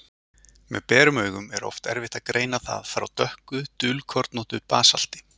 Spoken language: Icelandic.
Með berum augum er oft erfitt að greina það frá dökku, dulkornóttu basalti.